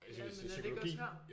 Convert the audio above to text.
Jamen er det ikke også her